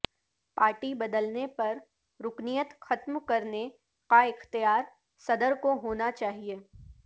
party بدلنے پر رکنیت ختم کرنے کا اختیار صدر کو ہوناچاہئے